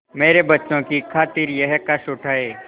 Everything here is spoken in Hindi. मेरे बच्चों की खातिर यह कष्ट उठायें